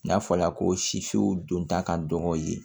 N'a fɔla ko sifinw don ta ka dɔgɔn yen